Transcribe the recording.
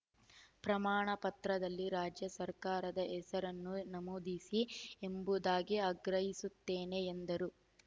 ಪ್ರಮಾಣಪತ್ರದಲ್ಲಿ ರಾಜ್ಯ ಸರ್ಕಾರದ ಹೆಸರನ್ನೂ ನಮೂದಿಸಿ ಎಂಬುದಾಗಿ ಆಗ್ರಹಿಸುತ್ತೇನೆ ಎಂದರು